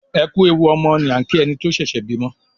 "ẹkú ẹwù ọmọ" ni a kí ẹni tí ó ṣẹ̀ṣẹ̀ bímọ